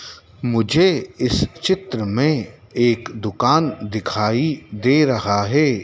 मुझे इस चित्र में एक दुकान दिखाई दे रहा है।